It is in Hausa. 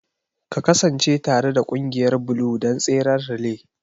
Ka kasance tare da ƙungiyar Blue don tseren relay!